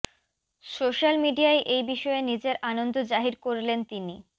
social মিডিয়ায় এই বিষয়ে নিজের আনন্দ জাহির করলেন তিনি